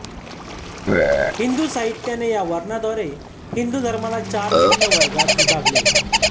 हिंदू साहित्याने या वर्णांद्वारे हिंदू धर्माला चार भिन्न वर्गात विभागले